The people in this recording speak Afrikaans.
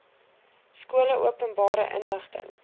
skole openbare inligting